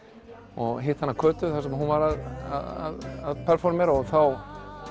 og hitti hana Kötu þar sem hún var að performera þá